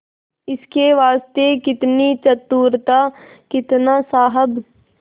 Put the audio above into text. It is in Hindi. इसके वास्ते कितनी चतुरता कितना साहब